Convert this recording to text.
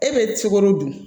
E bɛ cikoro dun